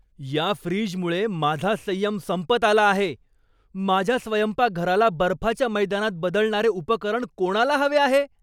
या फ्रीजमुळे माझा संयम संपत आला आहे. माझ्या स्वयंपाकघराला बर्फाच्या मैदानात बदलणारे उपकरण कोणाला हवे आहे